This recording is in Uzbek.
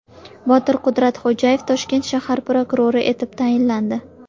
Botir Qudratxo‘jayev Toshkent shahar prokurori etib tayinlandi.